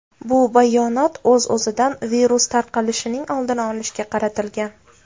Bu bayonot, o‘z-o‘zidan, virus tarqalishining oldini olishga qaratilgan.